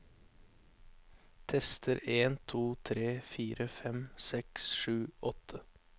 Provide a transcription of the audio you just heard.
Tester en to tre fire fem seks sju åtte